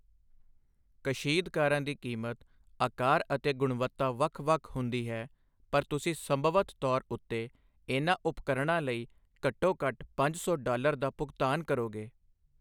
ਕਸ਼ੀਦਕਾਰਾਂ ਦੀ ਕੀਮਤ, ਆਕਾਰ ਅਤੇ ਗੁਣਵੱਤਾ ਵੱਖ ਵੱਖ ਹੁੰਦੀ ਹੈ, ਪਰ ਤੁਸੀਂ ਸੰਭਵਤ ਤੌਰ ਉੱਤੇ ਇਨ੍ਹਾਂ ਉਪਕਰਣਾਂ ਲਈ ਘੱਟੋ ਘੱਟ ਪੰਜ ਸੌ ਡਾਲਰ ਦਾ ਭੁਗਤਾਨ ਕਰੋਗੇ।